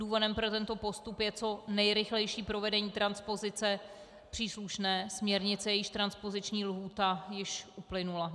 Důvodem pro tento postup je co nejrychlejší provedení transpozice příslušné směrnice, jejíž transpoziční lhůta již uplynula.